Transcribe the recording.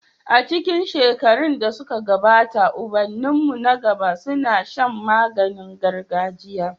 A cikin shekarun da suka gabata ubanninmu na gaba suna shan magani gargajia.